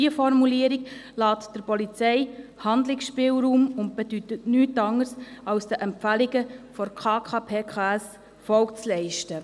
Diese Formulierung überlässt der Polizei einen Handlungsspielraum und bedeutet nichts anderes, als den Empfehlungen der KKPKS Folge zu leisten.